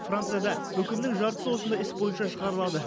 францияда үкімнің жартысы осындай іс бойынша шығарылады